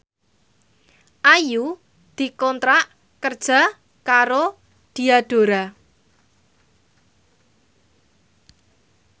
Ayu dikontrak kerja karo Diadora